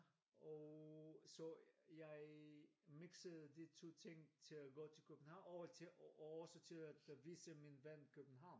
Og så jeg mixede de to ting til at gå til København og til og så til at vise min ven København